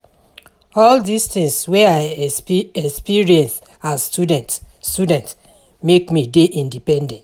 All dis tins wey I experience as student student make me dey independent.